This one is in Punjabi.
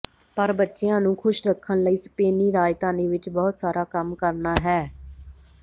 ਪਰ ਬੱਚਿਆਂ ਨੂੰ ਖੁਸ਼ ਰੱਖਣ ਲਈ ਸਪੇਨੀ ਰਾਜਧਾਨੀ ਵਿਚ ਬਹੁਤ ਸਾਰਾ ਕੰਮ ਕਰਨਾ ਹੈ